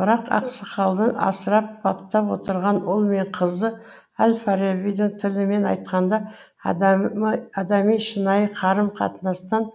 бірақ ақсақалдың асырап баптап отырған ұл мен қызы әл фарабидің тілімен айтқанда адами шынайы қарым қатынастан